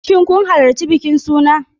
Shin kun halarci bikin suna?